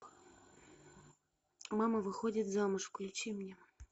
мама выходит замуж включи мне